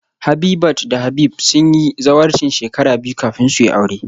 Habitat da Habib sun yi zawarcin shekara biyu kafin su yi aure